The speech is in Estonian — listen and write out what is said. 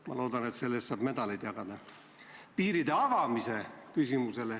Ma loodan, et selle eest saab medaleid jagada.